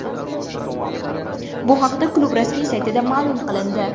Bu haqda klub rasmiy saytida ma’lum qilindi .